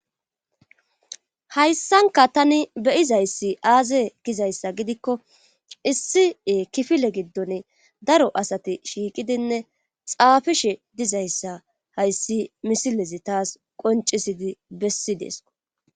Hayssanka tani beyizayssi aaze gizayssa gidikko issie kifile giddone daro asati shiiqidinne xaafishe dizayssa hayssi misilezi taas qoncisidi bessi deesko.